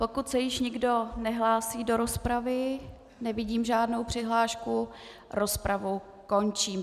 Pokud se již nikdo nehlásí do rozpravy - nevidím žádnou přihlášku - rozpravu končím.